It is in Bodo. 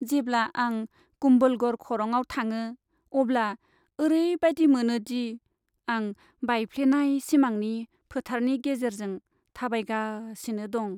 जेब्ला आं कुम्भलगढ़ खरंआव थाङो अब्ला ओरैबादि मोनोदि आं बायफ्लेनाय सिमांनि फोथारनि गेजेरजों थाबायगासिनो दं।